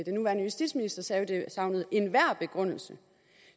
den nuværende justitsminister sagde jo at det savnede enhver begrundelse